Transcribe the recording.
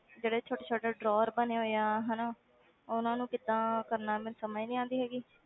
ਜਿਹੜੇ ਛੋਟੇ ਛੋਟੇ drawer ਬਣੇ ਹੋਏ ਆ ਹਨਾ ਉਹਨਾਂ ਨੂੰ ਕਿੱਦਾਂ ਕਰਨਾ ਮੈਨੂੰ ਸਮਝ ਨੀ ਆਉਂਦੀ ਹੈਗੀ